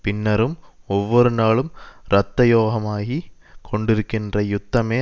பின்னரும் ஒவ்வொருநாளும் இரத்தயோகமாகி கொண்டிருக்கின்ற யுத்தமே